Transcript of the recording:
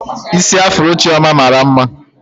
Isi afuro Chioma mara ya mma